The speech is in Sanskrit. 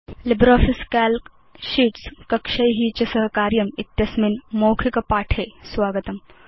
लिब्रियोफिस काल्क शीट्स् कक्षै च सह कार्यमित्यस्मिन् मौखिकपाठे स्वागतम्